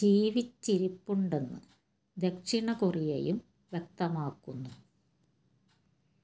ജീവിച്ചിരിപ്പുണ്ടെന്ന് ദക്ഷിണ കൊറിയയും വ്യക്തമാക്കുന്നു